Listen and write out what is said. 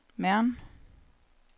Mern